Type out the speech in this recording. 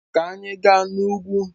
Ka anyị gaa n'ugwu!